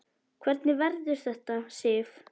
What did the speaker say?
Hvernig verður þetta, Sif?